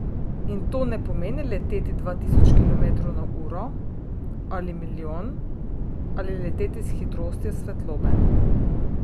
In to ne pomeni leteti dva tisoč kilometrov na uro, ali milijon, ali leteti s hitrostjo svetlobe.